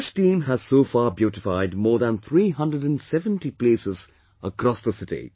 This team has so far beautified more than 370 places across the city